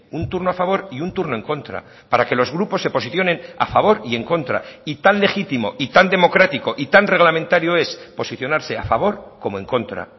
un turno a favor y un turno en contra para que los grupos se posicionen a favor y en contra y tan legítimo y tan democrático y tan reglamentario es posicionarse a favor como en contra